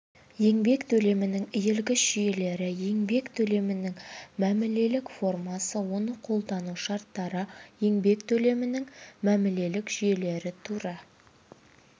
еңбек төлімінің иілгіш жүйелері еңбек төлемінің мәмілелік формасы оны қолдану шарттары еңбек төлемінің мәмілелік жүйелері тура